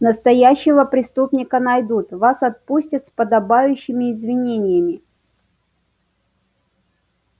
настоящего преступника найдут вас отпустят с подобающими извинениями